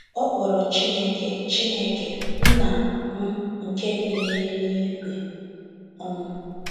Ọ kpọrọ Chineke “ Chineke “ Nna m nke bi n’eluigwe. um ”